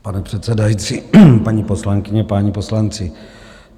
Pane předsedající, paní poslankyně, páni poslanci.